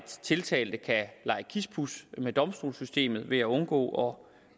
tiltalte kan lege kispus med domstolssystemet ved at undgå